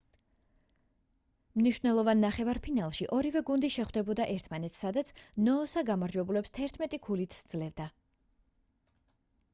მნიშნველოვან ნახევარფინალში ორივე გუნდი შეხვდებოდა ერთმანეთს სადაც ნოოსა გამარჯვებულებს 11 ქულით სძლევდა